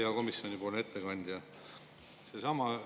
Hea komisjoni ettekandja!